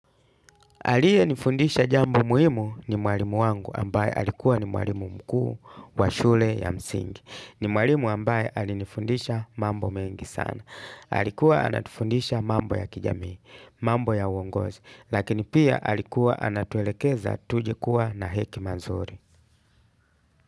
Aliye nifundisha jambo muhimu ni mwalimu wangu ambaye alikuwa ni mwalimu mkuu wa shule ya msingi. Ni mwalimu ambaye alinifundisha mambo mengi sana. Alikuwa anatufundisha mambo ya kijamii, mambo ya uongozi. Lakini pia alikuwa anatuelekeza tuje kuwa na hekima nzuri.